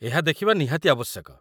ଏହା ଦେଖିବା ନିହାତି ଆବଶ୍ୟକ।